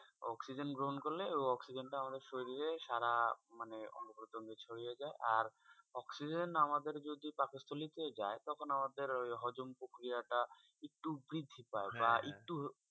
Oxygen গ্রহন করলে oxygen টা আমাদের শরীরে সারা মানে অঙ্গ প্রত্যঙ্গে ছড়িয়ে যায় আর oxygen আমাদের যদি পাকস্থলি তে যায় তখন আমাদের ওই হজম পক্রিয়া টা একটু বৃদ্ধি পায় বা একটু